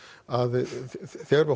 að þegar við